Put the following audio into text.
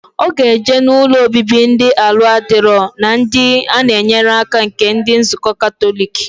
Oga eje na ụlọ obibi ndi ala adiro na ndi ana enyere aka nke ndi nzuko katolic.